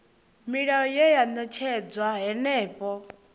milayo ye ya ṅetshedzwa henefho